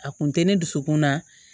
A kun tɛ ne dusukun na